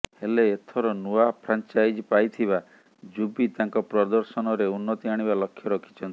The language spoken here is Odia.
ହେଲେ ଏଥର ନୂଆ ଫ୍ରାଞ୍ଚାଇଜ୍ ପାଇଥିବା ଯୁବି ତାଙ୍କ ପ୍ରଦର୍ଶନରେ ଉନ୍ନତି ଆଣିବା ଲକ୍ଷ୍ୟ ରଖିଛନ୍ତି